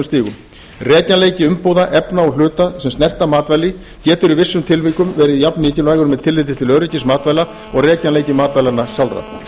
stigum rekjanleiki umbúða efna og hluta sem snerta matvæli getur í vissum tilvikum verið jafnmikilvægur með tilliti til öryggis matvæla og rekjanleiki matvælanna sjálfra